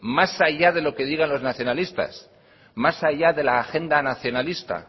más allá de lo que digan los nacionalistas más allá de la agenda nacionalista